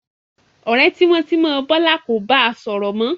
Ọ̀rẹ́ tímọ́tímọ́ Bọ́lá kò ba sọ̀rọ̀ mọ́.